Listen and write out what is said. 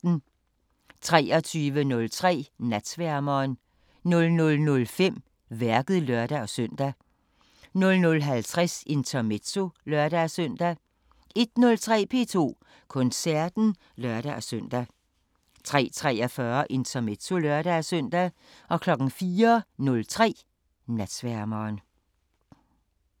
23:03: Natsværmeren 00:05: Værket (lør-søn) 00:50: Intermezzo (lør-søn) 01:03: P2 Koncerten (lør-søn) 03:43: Intermezzo (lør-søn) 04:03: Natsværmeren